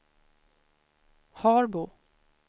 Harbo